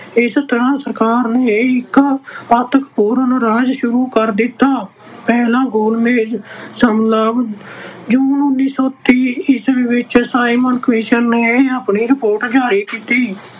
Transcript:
ਇਸ ਤਰ੍ਹਾਂ ਸਰਕਾਰ ਨੇ ਇਕ ਮਹੱਤਵਪੂਰਨ ਰਾਜ ਸ਼ੁਰੂ ਕਰ ਦਿੱਤਾ। ਪਹਿਲਾ ਗੋਲ ਮੇਜ ਸੰਮੇਲਨ- ਜੂਨ ਉਨੀ ਸੌ ਤੀਹ ਈਸਵੀ ਵਿੱਚ simon commission ਨੇ ਆਪਣੀ report ਜਾਰੀ ਕੀਤੀ।